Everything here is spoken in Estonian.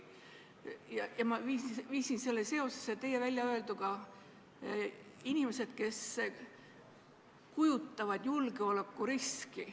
Ma viisin selle seosesse teie väljaöelduga: inimesed, kes kujutavad endast julgeolekuriski.